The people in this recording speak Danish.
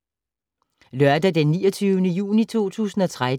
Lørdag d. 29. juni 2013